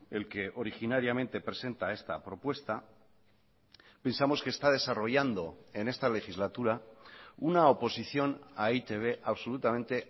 el que originariamente presenta esta propuesta pensamos que está desarrollando en esta legislatura una oposición a e i te be absolutamente